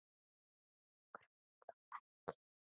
Þig grunar þó ekki?